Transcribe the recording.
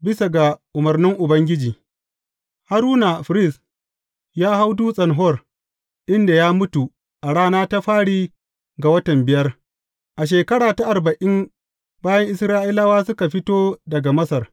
Bisa ga umarni Ubangiji, Haruna firist, ya hau Dutsen Hor, inda ya mutu a rana ta fari ga watan biyar, a shekara ta arba’in, bayan Isra’ilawa suka fito daga Masar.